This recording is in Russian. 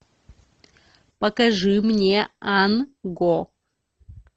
покажи мне ан го